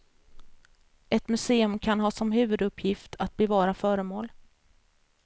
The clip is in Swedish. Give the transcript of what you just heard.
Ett museum kan ha som huvuduppgift att bevara föremål.